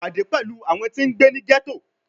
Pade pẹlu awọn ti ngbe ni ghetto